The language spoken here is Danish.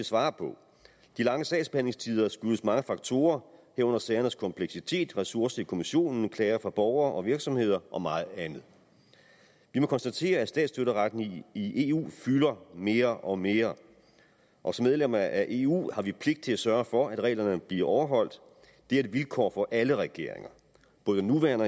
svare på de lange sagsbehandlingstider skyldes mange faktorer herunder sagernes kompleksitet ressourcer i kommissionen klager fra borgere og virksomheder og meget andet vi må konstatere at statsstøtteretten i eu fylder mere og mere og som medlem af eu har vi pligt til at sørge for at reglerne bliver overholdt det er et vilkår for alle regeringer både nuværende